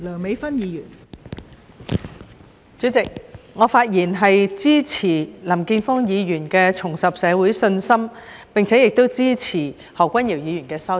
代理主席，我發言支持林健鋒議員提出的"重拾社會信心"議案，以及支持何君堯議員的修正案。